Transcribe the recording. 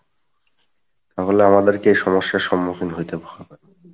তাহলে আমাদেরকে এই সমস্যার সম্মুখীন হইতে হবে